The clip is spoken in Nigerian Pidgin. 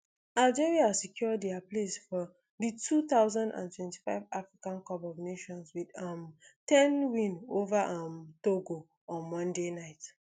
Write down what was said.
algeria secure dia place for di two thousand and twenty-five africa cup of nations wit a um ten win ova um togo on monday night